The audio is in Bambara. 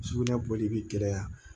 Sugunɛ bɔli bi gɛlɛya